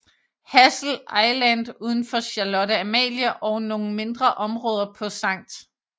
Hassel Island uden for Charlotte Amalie og nogle mindre områder på St